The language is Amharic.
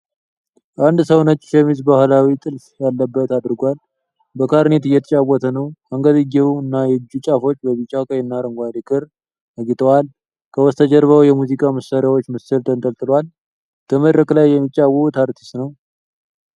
አንድ ሰው ነጭ ሸሚዝ ባህላዊ ጥልፍ ያለበት አድርጓል። በክላሪኔት እየተጫወተ ነው። አንገትጌው እና የእጁ ጫፎች በቢጫ፣ ቀይና አረንጓዴ ክር አጊጠዋል። ከበስተጀርባው የሙዚቃ መሳሪያዎች ምስል ተንጠልጥሏል። በመድረክ ላይ የሚጫወት አርቲስት ነው።